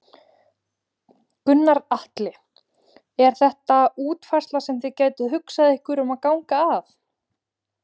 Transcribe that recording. Gunnar Atli: Er þetta útfærsla sem þið gætuð hugsað ykkur að ganga að?